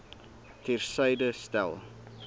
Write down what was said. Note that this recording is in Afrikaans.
ter syde stel